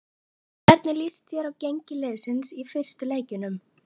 Hvernig lýst þér á gengi liðsins í fyrstu leikjunum?